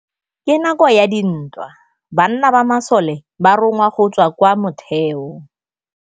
Ka nakô ya dintwa banna ba masole ba rongwa go tswa kwa mothêô.